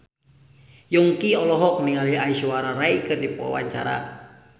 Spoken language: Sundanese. Yongki olohok ningali Aishwarya Rai keur diwawancara